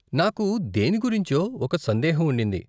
నాకు దేని గురించో ఒక సందేహం ఉండింది.